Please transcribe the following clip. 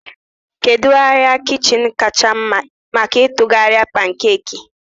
Kedu arịa kichin kacha mma maka ịtụgharị pankeeki?